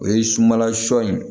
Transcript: O ye sumanla sɔ ye